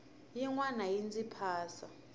yin wana yi ndzi phasa